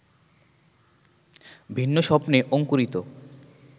ভিন্ন স্বপ্নে অংকুরিত